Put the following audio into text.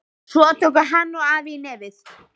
Svo tóku hann og afi í nefið.